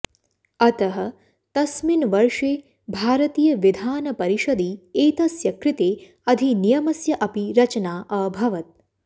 अतः तस्मिन् वर्षे भारतीयविधानपरिषदि एतस्य कृते अधिनियमस्य अपि रचना अभवत्